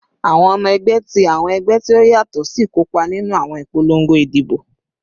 Awọn ọmọ ẹgbẹ ti awọn ẹgbẹ ti o yatọ si kopa ninu awọn ipolongo idibo